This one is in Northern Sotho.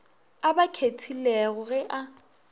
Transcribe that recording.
a ba kgethilego ge a